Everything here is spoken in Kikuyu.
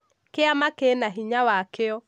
kĩama kĩna hinya wakĩo